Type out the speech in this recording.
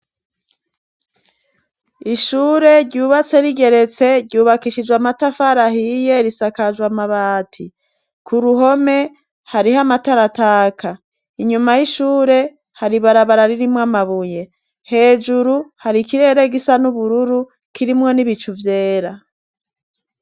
Ishure ryubatse rigeretse ryubakishijwe amatafarahiye risakajwa amabati ku ruhome hariho amatarataka inyuma y'ishure haribarabara ririmwo amabuye hejuru hari ikirere gisa n'ubururu kirimwo n'ibicu vyera.